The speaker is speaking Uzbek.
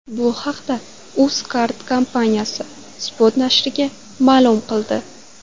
Bu haqda UzCard kompaniyasi Spot nashriga ma’lum qildi .